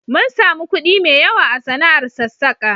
Mun sami kuɗi mai yawa a sana'ar sassaka.